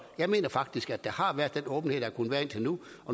jeg mener faktisk der har været den åbenhed der har kunnet være indtil nu